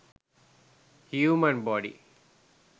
human body